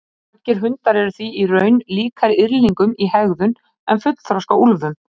Margir hundar eru því í raun líkari yrðlingum í hegðun en fullþroska úlfum.